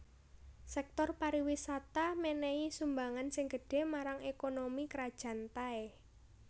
Sèktor pariwisata mènèhi sumbangan sing gedhé marang ékonomi Krajan Thai